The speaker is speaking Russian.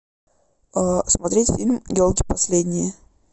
смотреть фильм елки последние